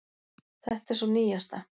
Þetta er sú nýjasta.